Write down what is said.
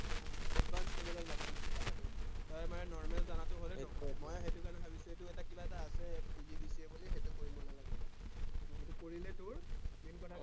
advanced level ৰ লাগে মোক জনাটো, তই মানে normal জানাটো হলে নহব মই আৰু সেইকাৰনে ভাবিছো, সেইটো এটা কিবা এটা আছে PGDCA বুলি, সেইটো কৰি লব লাগিব, সেইটো কৰিলে তোৰ main কথা